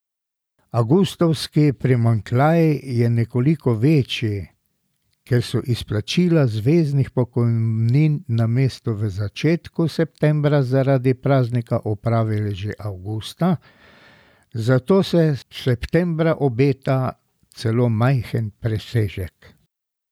Avgustovski primanjkljaj je nekoliko večji, ker so izplačila zveznih pokojnin namesto v začetku septembra zaradi praznika opravili že avgusta, zato se septembra obeta celo majhen presežek.